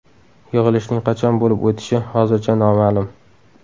Yig‘ilishning qachon bo‘lib o‘tishi hozircha noma’lum.